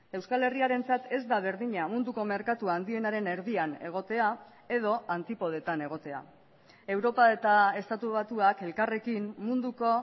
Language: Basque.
euskal herriarentzat ez da berdina munduko merkatua handienaren erdian egotea edo antipodetan egotea europa eta estatu batuak elkarrekin munduko